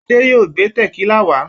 Adé yóò gbé tẹ̀kílà wá.